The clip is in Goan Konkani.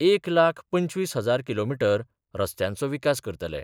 एक लाख पंचवीस हजार किलोमिटर रस्त्यांचो विकास करतले.